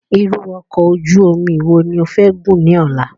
Irú ọkọ̀ ojú omi wo ni ofẹ́ gùn ní ọ̀la?